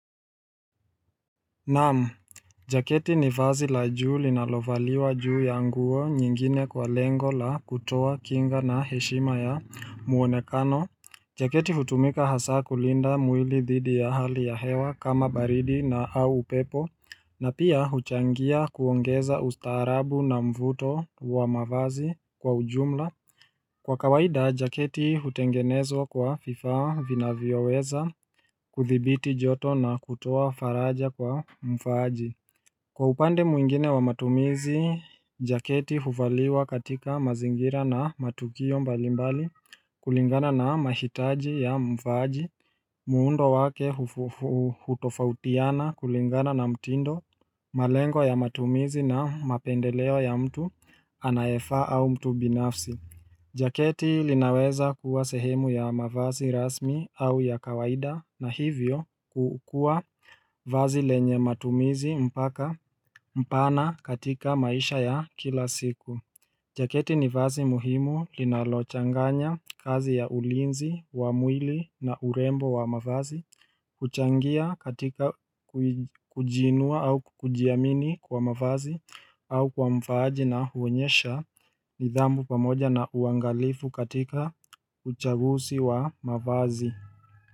Naam, jaketi ni vazi la juu linalovaliwa juu ya nguo nyingine kwa lengo la kutoa kinga na heshima ya muonekano jaketi hutumika hasa kulinda mwili dhidi ya hali ya hewa kama baridi na au upepo na pia huchangia kuongeza ustaarabu na mvuto wa mavazi kwa ujumla Kwa kawaida, jaketi hutengenezwa kwa fifaa vinavyo weza kuthibiti joto na kutoa faraja kwa mfaaji. Kwa upande mwingine wa matumizi, jaketi huvaliwa katika mazingira na matukio mbalimbali kulingana na mahitaji ya mfaaji. Muundo wake hufufu hutofautiana kulingana na mtindo, malengo ya matumizi na mapendeleo ya mtu anayefaa au mtu binafsi. Jaketi linaweza kuwa sehemu ya mavazi rasmi au ya kawaida na hivyo kuukua vazi lenye matumizi mpaka mpana katika maisha ya kila siku jaketi ni vazi muhimu linalochanganya kazi ya ulinzi, wamwili na urembo wa mavazi, huchangia katika kuij kujiinua au kujiamini kwa mavazi au kwa mfaaji na huonyesha nidhamu pamoja na uangalifu katika uchagusi wa mafazi.